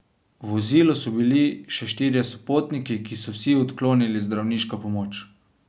V vozilu so bili še štirje sopotniki, ki so vsi odklonili zdravniško pomoč.